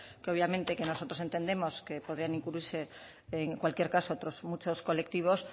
que obviamente que nosotros entendemos que podrían incluirse en cualquier caso otros muchos colectivos